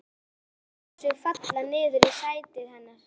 Hemmi lætur sig falla niður í sætið hennar.